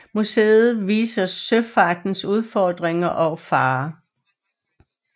Museet viser søfartens udfordringer og farer